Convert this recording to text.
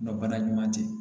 Nka bana ɲuman tɛ